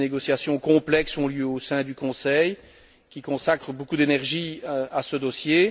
Des négociations complexes ont lieu au sein du Conseil, qui consacre beaucoup d'énergie à ce dossier.